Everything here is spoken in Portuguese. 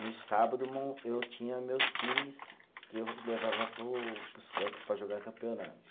No sábado mon, eu tinha meus times que eu levava para o, para os campos para jogar campeonato.